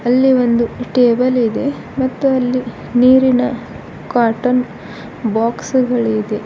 ಅಲ್ಲಿ ಒಂದು ಟೇಬಲ್ ಇದೆ ಮತ್ತು ಅಲ್ಲಿ ನೀರಿನ ಕಾಟನ್ ಬಾಕ್ಸ್ ಗಳಿದೆ.